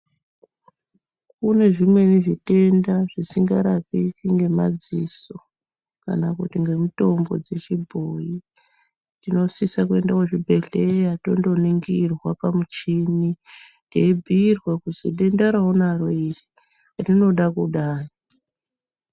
Kune zvimweni zvitenda zvisingarapiki ngemadziso kana kuti ngemutombo dzechibhoyi. Tinosisa kuenda kuzvibhedhleya tondoningirwa pamuchini teibhuirwa kuti denda raunaro iri, rinoda kudai.